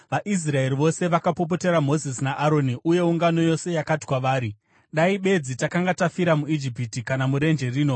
VaIsraeri vose vakapopotera Mozisi naAroni uye ungano yose yakati kwavari, “Dai bedzi takanga tafira muIjipiti! Kana murenje rino!